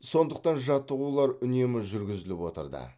сондықтан жаттығулар үнемі жүргізіліп отырды